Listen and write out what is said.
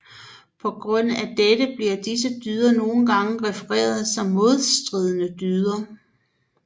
På grund af dette bliver disse dyder nogengange refereret til som modstridende dyder